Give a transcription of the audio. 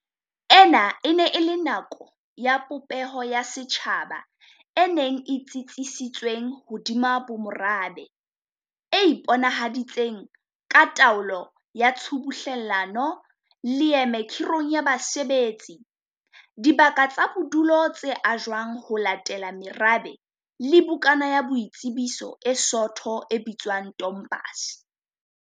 Ena e ne e le nako ya popeho ya setjhaba e neng e tsitsisitsweng hodima bomorabe, e iponahaditseng ka taolo ya tshubuhlelano, leeme khi rong ya basebetsi, dibaka tsa bodulo tse ajwang ho latela merabe le bukana ya boitsebiso e soto e bitswang tompase.